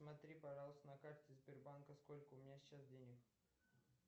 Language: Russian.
посмотри пожалуйста на карте сбербанка сколько у меня сейчас денег